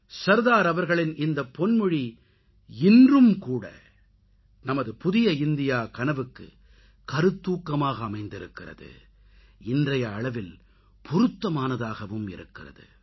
சர்தார் அவர்களின் இந்தப்பொன்மொழி இன்றும் கூட நமது புதிய இந்தியா கனவுக்கு கருத்தூக்கமாக அமைந்திருக்கிறது இன்றைய அளவில் பொருத்தமானதாகவும் இருக்கிறது